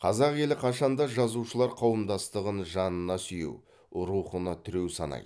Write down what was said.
қазақ елі қашанда жазушылар қауымдастығын жанына сүйеу рухына тіреу санайды